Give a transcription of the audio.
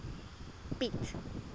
piet